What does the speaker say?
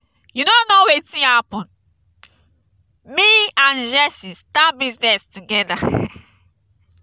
you no know wetin happen. me abd jesse start business together.